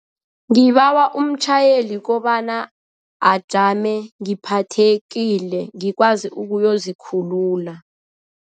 Ngibawa umtjhayeli kobana ajame ngiphathekile ngikwazi ukuyozikhulula.